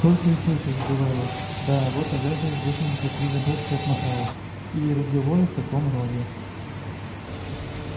только и слышишь бывало да вот агафья восемьдесят три годочка отмахала или разговоры в таком роде